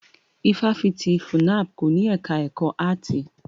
Ifáfitì FUNAB kò ní ẹka ẹ̀kọ́ áàtì.